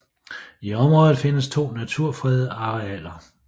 I området findes to naturfredede arealer